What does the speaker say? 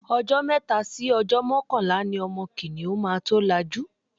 Ọjọ́ mẹ́ta sí ọjọ́ mọ́kànlá ni ọmọ kìnìhún máa tó lajú.